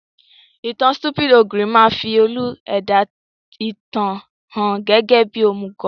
Ìtan Stupid Ogre máa fi olú-ẹ̀dá ìtàn hàn gẹ́gẹ́ bí òmùgọ̀